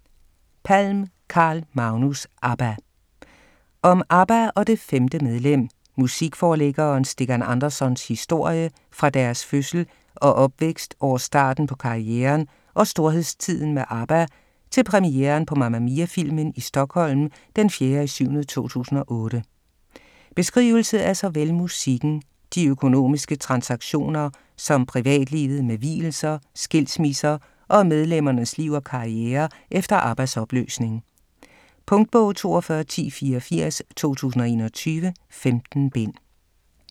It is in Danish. Palm, Carl Magnus: ABBA Om ABBA og det "femte medlem", musikforlæggeren Stikkan Andersons historie fra deres fødsel og opvækst over starten på karrieren og storhedstiden med ABBA til premieren på Mamma Mia-filmen i Stockholm d. 4.7.2008. Beskrivelse af såvel musikken, de økonomiske transaktioner som privatlivet med vielser, skilsmisser og medlemmernes liv og karriere efter ABBAs opløsning. Punktbog 421084 2021. 15 bind.